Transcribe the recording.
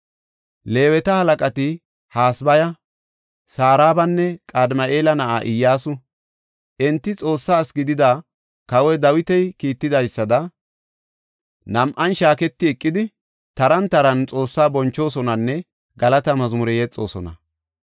Leeweta halaqati Hasabaya, Sarabanne Qadimi7eela na7aa Iyyasu. Enti Xoossa asi gidida kawoy Dawiti kiittidaysada, nam7an shaaketi eqidi, taran taran Xoossaa bonchoosonanne galata mazmure yexoosona.